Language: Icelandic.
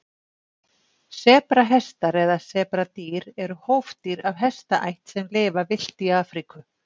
sebrahestar eða sebradýr eru hófdýr af hestaætt sem lifa villt í afríku